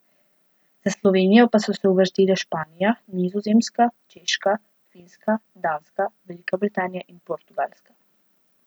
Za Slovenijo pa so se uvrstile Španija, Nizozemska, Češka, Finska, Danska, Velika Britanija in Portugalska.